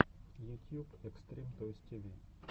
ютьюб экстрим тойс ти ви